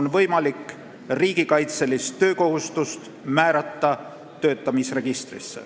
on võimalik riigikaitselist töökohustust määrata, tsiviiltoetuse registrist töötamise registrisse.